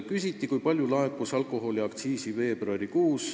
Küsiti, kui palju laekus alkoholiaktsiisi veebruarikuus.